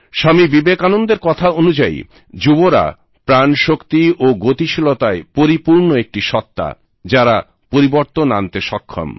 স্বামী বিবেকানন্দের কথা অনুযায়ী যুবরা প্রাণশক্তি ও গতিশীলতায় পরিপূর্ণ একটি সত্তা যারা পরিবর্তন আনতে সক্ষম